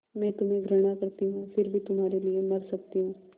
मैं तुम्हें घृणा करती हूँ फिर भी तुम्हारे लिए मर सकती हूँ